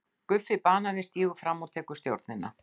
GUFFI BANANI stígur fram og tekur stjórnina.